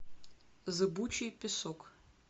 зыбучий песок